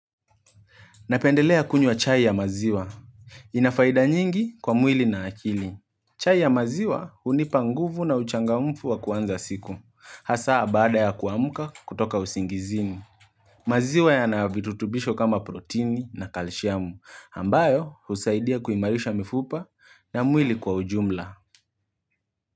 Napendelea kunywa chai ya maziwa. Ina faida nyingi kwa mwili na akili. Chai ya maziwa unipa nguvu na uchanga mfu wa kuanza siku. Hasa baada ya kuamka kutoka usingizini. Maziwa yana virutubisho kama proteini na kalshiamu. Ambayo husaidia kuimarisha mifupa na mwili kwa ujumla.